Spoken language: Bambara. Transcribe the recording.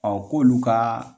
k'olu ka